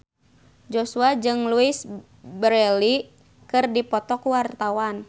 Joshua jeung Louise Brealey keur dipoto ku wartawan